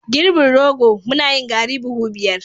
girbin rogo, muna yin garri buhu biyar